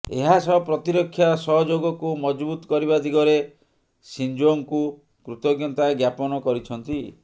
ଏହା ସହ ପ୍ରତିରକ୍ଷା ସହଯୋଗକୁ ମଜବୁତ କରିବା ଦିଗରେ ସିଞ୍ଜୋଙ୍କୁ କୃତଜ୍ଞତା ଜ୍ଞାପନ କରିଛନ୍ତି